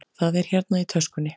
Það er hérna í töskunni.